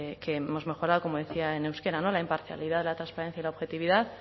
que hemos mejorado como decía en euskera la imparcialidad la transparencia y la objetividad